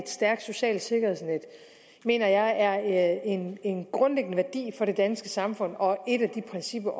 stærkt socialt sikkerhedsnet mener jeg er en en grundlæggende værdi for det danske samfund og det også et af de principper